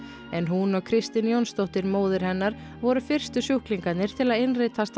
en hún og Kristín Jónsdóttir móðir hennar voru fyrstu sjúklingarnir til að innritast á